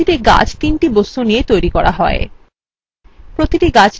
মনে রাখবেন প্রতিটি গাছ তিনটি বস্তু দিয়ে tree করা হয়